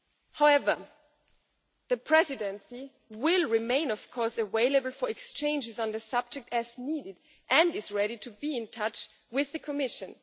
However, the Presidency will of course remain available for exchanges on the subject as needed, and is ready to be in touch with the Commission.